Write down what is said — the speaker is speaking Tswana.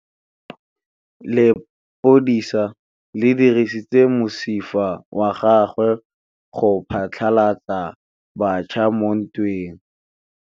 Lepodisa le dirisitse mosifa wa gagwe go phatlalatsa batšha mo ntweng.